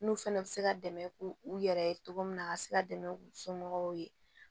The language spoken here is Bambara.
N'u fana bɛ se ka dɛmɛ k'u u yɛrɛ ye cogo min na a ka se ka dɛmɛ u somɔgɔw ye